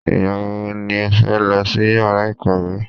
Ìgbà wo ni o fẹ́ lọ sí yàrá ìkàwé?